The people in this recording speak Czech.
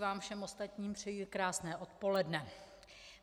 Vám všem ostatním přeji krásné odpoledne.